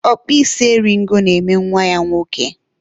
ọkpụ isi eri ego na-eme nwa ya nwoke